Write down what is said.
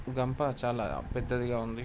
ఇది అంత చాలా పెద్ధది గ వుంది. .